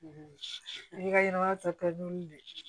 I ka ɲɛnɛmaya ta joli de